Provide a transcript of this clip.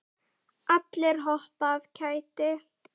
Allir hoppa af kæti.